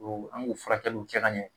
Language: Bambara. Don an b'u furakɛliw kɛ ka ɲɛ